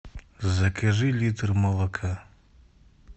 закажи литр молока